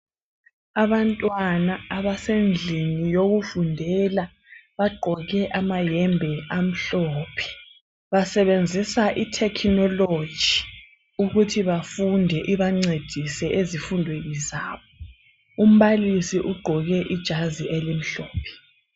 Abantwana abasendlini yokufundela bagqoke amayembe amhlophe basebenzisa i technology ukuthi bafunde ibancedise ezifundweni zabo umbalisi ugqoke ijazi elimhlophe